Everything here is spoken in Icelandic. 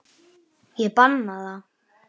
Ég banna það.